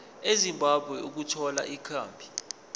ezimbabwe ukuthola ikhambi